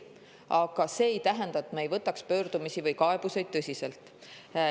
Aga see ei tähenda, et me ei võtaks pöördumisi või kaebusi tõsiselt.